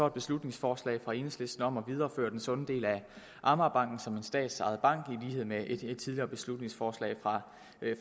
et beslutningsforslag fra enhedslisten om at videreføre den sunde del af amagerbanken som en statsejet bank i lighed med et tidligere beslutningsforslag